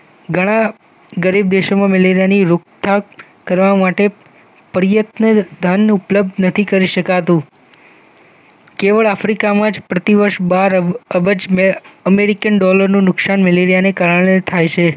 ઘણા ગરીબ દેશોમાં મેલેરિયાની રોકઠાક કરવા માટે પ્રયત્ન ધાનનું ઉપલબ્ધ નથી કરી શકાતું કેવળ આફ્રિકામાં જ પ્રતિવર્ષ બાર અબજ અમેરિકન ડોલરનું નુકશાન મેલેરિયાને કારણે થાય છે